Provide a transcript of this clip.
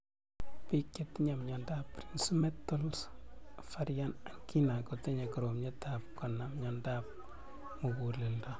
Piik che tinye miondop Prinzmetals' variant angina kotinye koromiet ab konam miondop mug�leldo